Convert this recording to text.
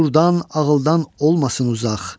şuurdan, ağıldan olmasın uzaq.